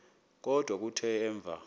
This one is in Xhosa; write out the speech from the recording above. kodwa kuthe emva